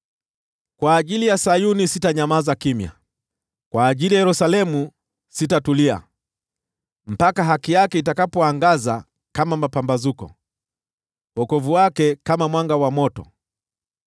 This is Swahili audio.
Kwa ajili ya Sayuni sitanyamaza, kwa ajili ya Yerusalemu sitatulia, mpaka haki yake itakapoangaza kama mapambazuko, wokovu wake kama mwanga wa moto.